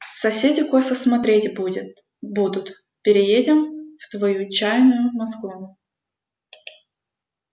соседи косо смотреть будет будут переедем в твою чайную москву